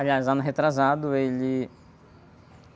Aliás, ano retrasado ele....